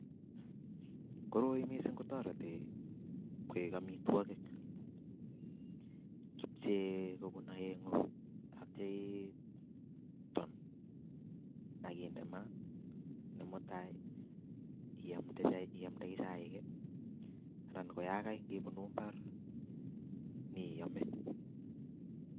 Koroi mising kotoreti koik amitwokik, kipchee kobun oengu akityo iton ak inde maa akityo mutai iamnde chaik anan koyakai ibunu mbar inyeiyome.